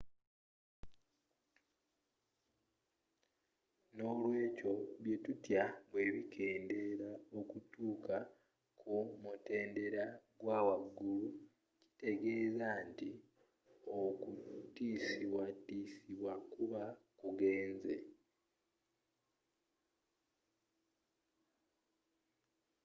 nolwekyo byetutya bwebikeendera okutuuka ku mutendeera gwawaggulu tekitegeeza nti okutiiosibwatiisibwa kuba kugenze